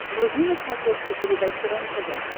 вруби на смотрешке передачу рентв